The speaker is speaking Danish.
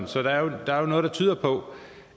så der er jo noget der tyder på